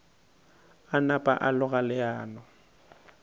a napa a loga leano